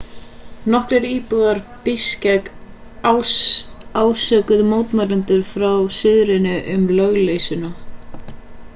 nokkrir íbúar bishkek ásökuðu mótmælendur frá suðrinu um lögleysuna